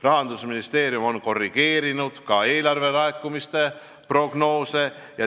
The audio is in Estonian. Rahandusministeerium on korrigeerinud ka eelarvelaekumiste prognoose.